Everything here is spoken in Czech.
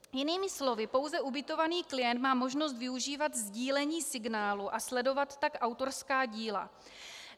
Jinými slovy, pouze ubytovaný klient má možnost využívat sdílení signálu a sledovat tak autorská díla.